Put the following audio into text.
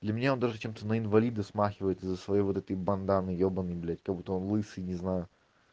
для меня он даже чем-то на инвалида смахивает из-за своей вот этой банданы ебаной блядь как будто он лысый не знаю